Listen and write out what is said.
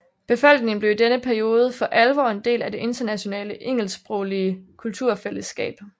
Befolkningen blev i denne periode for alvor en del af det internationale engelsksproglige kulturfællesskab